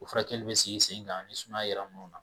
O furakɛli bɛ sigi sen kan ni sumaya yera munnu na.